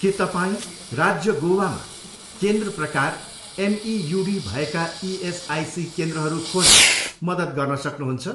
के तपाईँँ राज्य गोवा मा केन्द्र प्रकार एमइयुडी भएका इएसआइसी केन्द्रहरू खोज्न मद्दत गर्न सक्नुहुन्छ?